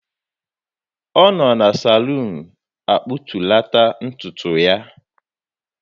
Ọ nọ na saluun akpụtulata ntutu ya.